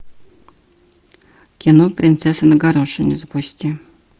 кино принцесса на горошине запусти